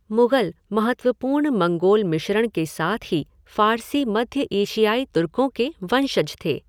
मुग़ल महत्वपूर्ण मंगोल मिश्रण के साथ ही फ़ारसी मध्य एशियाई तुर्कों के वंशज थे।